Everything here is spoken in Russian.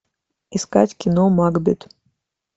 искать кино макбет